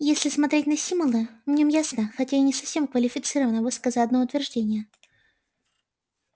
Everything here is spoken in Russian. если смотреть на симона в нём ясно хотя и не совсем квалифицированно высказано одно утверждение